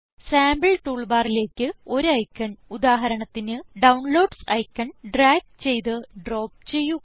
sample tool ബാറിലേക്ക് ഒരു icon ഉദാഹരണത്തിന് ഡൌൺലോഡ്സ് ഐക്കൺ ഡ്രാഗ് ചെയ്ത് ഡ്രോപ്പ് ചെയ്യുക